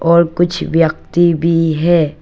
और कुछ व्यक्ति भी है।